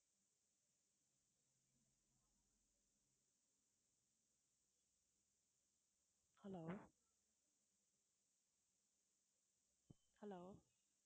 hello hello